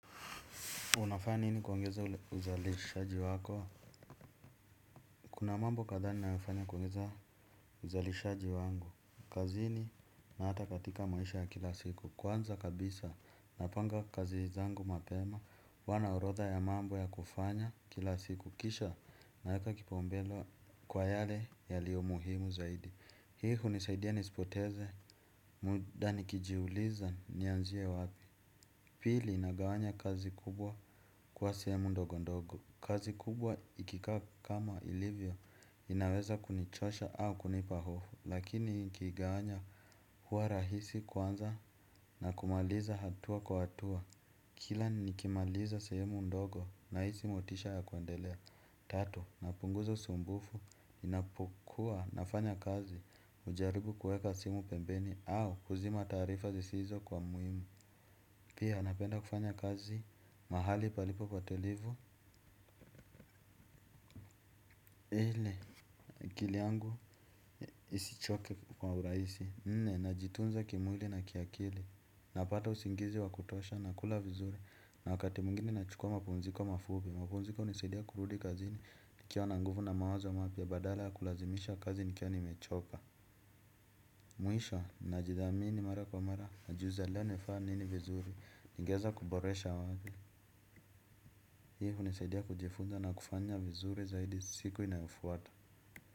Unafanya nini kuongeza uzalishaji wako? Kuna mambo kadhaa ninayofanya kuongeza uzalishaji wangu. Kazini na hata katika maisha ya kila siku. Kwanza kabisa napanga kazi zangu mapema. Huwa na orodha ya mambo ya kufanya kila siku. Kisha naeka kipaumbele kwa yale yaliyo muhimu zaidi. Hii hunisaidia nisipoteze. Muda nikijiuliza nianzie wapi. Pili nagawanya kazi kubwa kuwa sehemu ndogondogo. Kazi kubwa ikikaa kama ilivyo inaweza kunichosha au kunipa hofu. Lakini nikiigawanya huwa rahisi kwanza na kumaliza hatua kwa hatua. Kila nikimaliza sehemu ndogo nahisi motisha ya kuendelea. Tatu, napunguza usumbufu inapukua nafanya kazi hujaribu kuweka simu pembeni au kuzima taarifa zisizo kwa muhimu. Pia napenda kufanya kazi mahali palipo patulivu. Ili akili yangu isichoke kwa urahisi, nne, najitunza kimwili na kiakili. Napata usingizi wa kutosha, nakula vizuri, na wakati mwengine nachukua mapumziko mafupi. Mapumziko hunisaidia kurudi kazini, nikiwa na nguvu na mawazo mapya badala ya kulazimisha kazi nikiwa nimechoka. Mwisho, najidhamini mara kwa mara, najiuliza leo nilifanya nini vizuri, ningeweza kuboresha wapi. Hii hunisaidia kujifunza na kufanya vizuri zaidi siku inayofuata.